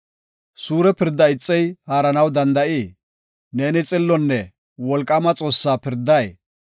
Suure pirdaa ixey haaranaw danda7ii? Neeni xillonne wolqaama Xoossaa pirday?